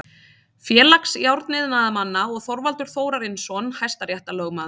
Félags járniðnaðarmanna og Þorvaldur Þórarinsson hæstaréttarlögmaður.